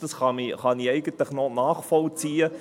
dies kann ich eigentlich noch nachvollziehen …